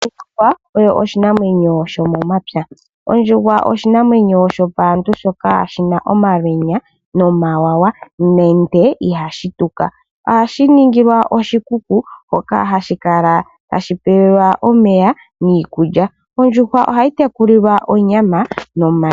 Ondjuhwa oyo oshinamwenyo shomomapya ,ondjuhwa oyo oshinamwenyo sho paantu shoka shina omawawa nomalwenya